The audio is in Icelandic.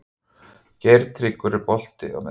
Geirtryggur, er bolti á miðvikudaginn?